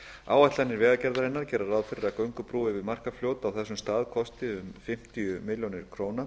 áætlanir vegagerðarinnar gera ráð fyrir að göngubrú yfir markarfljót á þessum stað kosti um fimmtíu milljónir króna